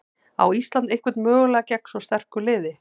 Á Ísland einhvern möguleika gegn svo sterku liði?